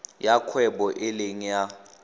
ya kgwebo e leng ya